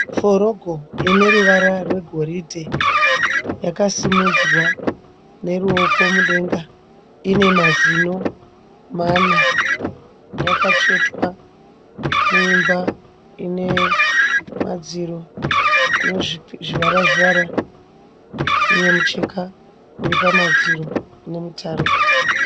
Forogo ine ruvara rwegoridhe. Yakasimudzwa neruoko mudenga. Ine mazino mana. Yakatsvetwa muimba ine madziro ane zvivara zvivara uye mucheka uri pamadziro une mitaro.